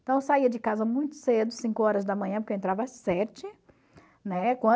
Então eu saía de casa muito cedo, cinco horas da manhã, porque eu entrava às sete. Né?